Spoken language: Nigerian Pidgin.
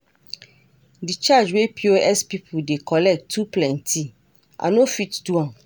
De charge wey POS people dey collect too plenty, I no fit do am.